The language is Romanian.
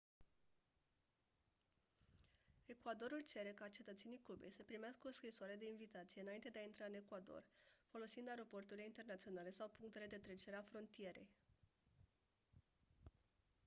ecuadorul cere ca cetățenii cubei să primească o scrisoare de invitație înainte de a intra în ecuador folosind aeroporturile internaționale sau punctele de trecere a frontierei